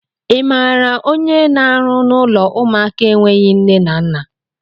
I maara onye na-arụ n'ụlọ ụmụaka enweghị nne na nna?